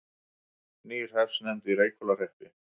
Ný hreppsnefnd í Reykhólahreppi